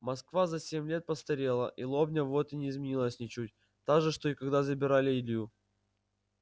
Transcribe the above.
москва за семь лет постарела и лобня вот не изменилась ничуть та же что и когда забирали илью